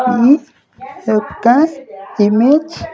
ఈ యెక్క ఇమేజ్ .